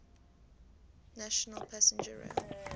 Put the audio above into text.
national passenger rail